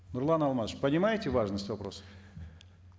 нурлан алмасович понимаете важность вопроса